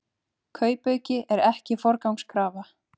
Kaupauki ekki forgangskrafa